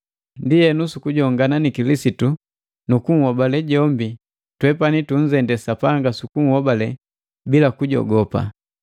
Ndienu, sukujongana ni Kilisitu nu kukunhobale jombi, twepani tunzendee Sapanga sukuhobale bila kujogopa.